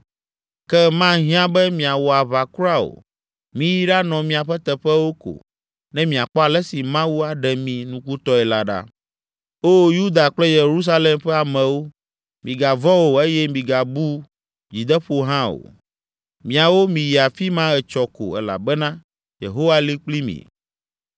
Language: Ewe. Ke mahiã be miawɔ aʋa kura o! Miyi ɖanɔ miaƒe teƒewo ko ne miakpɔ ale si Mawu aɖe mi nukutɔe la ɖa. Oo Yuda kple Yerusalem ƒe amewo! Migavɔ̃ o eye migabu dzideƒo hã o! Miawo miyi afi ma etsɔ ko elabena Yehowa li kpli mi!’ ”